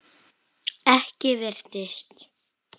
Ekki virtist